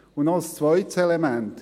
Noch ein zweites Element: